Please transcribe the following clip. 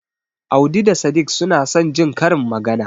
Audi da Sadik suna son Jin karin magana.